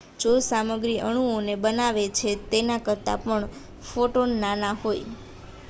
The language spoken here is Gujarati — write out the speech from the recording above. જે સામગ્રી અણુઓને બનાવે છે તેના કરતાં પણ ફોટોન નાના હોય